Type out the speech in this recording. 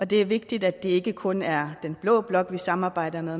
det er vigtigt at det ikke kun er blå blok vi samarbejder med